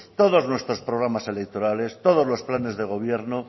todos nuestros programas electorales todos los planes de gobierno